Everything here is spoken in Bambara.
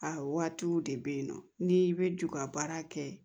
A waatiw de bɛ ye nɔ n'i bɛ ju ka baara kɛ